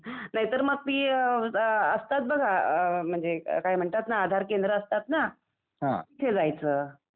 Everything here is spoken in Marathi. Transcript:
नाही तर पी ए असतात बघा म्हणजे काय म्हणतात ना बघा आधार केंद्र असतात ना तिथे जायचं.